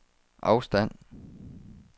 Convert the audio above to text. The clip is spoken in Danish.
afstand